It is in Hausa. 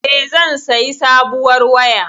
E, zan sayi sabuwar waya.